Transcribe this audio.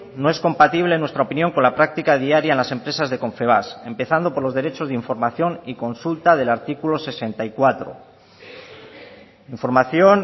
no es compatible en nuestra opinión con la práctica diaria en las empresas de confebask empezando por los derechos de información y consulta del artículo sesenta y cuatro información